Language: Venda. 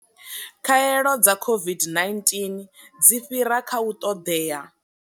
Khaelo dza COVID-19 dzi fhira kha u ṱoḓea.